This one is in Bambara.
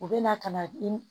U bɛ na ka na i